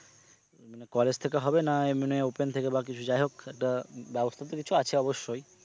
মানে college থেকে হবে না মানে open থেকে বা কিছু যাই হোক একটা ব্যবস্থা তো কিছু আছে অবশ্যই।